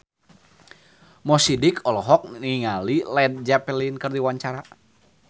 Mo Sidik olohok ningali Led Zeppelin keur diwawancara